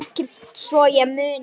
Ekkert svo ég muni.